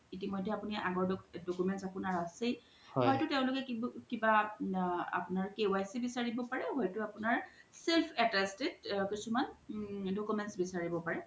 ইতিমইধে আপুনাৰ আগোৰ documents আছেই হইতো তেওলুকে আপুনাৰ কিবা KYC বিচাৰিব পাৰে বা আপুনাৰ self attached কিছুমান documents বিচাৰিব পাৰে